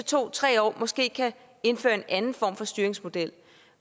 to tre år måske kan indføre en anden form for styringsmodel